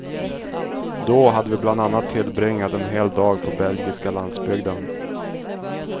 Då hade vi bland annat tillbringat en hel dag på belgiska landsbygden.